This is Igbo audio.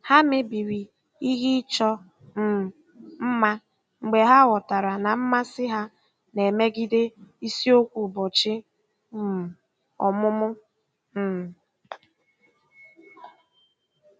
Ha mebiri ihe ịchọ um mma mgbe ha ghọtara na mmasị ha na-emegide isiokwu ụbọchị um ọmụmụ. um